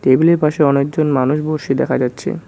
টেবিলের পাশে অনেকজন মানুষ বসে দেখা যাচ্ছে।